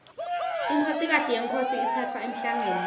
inkhosikati yenkhosi itsatfwa emhlangeni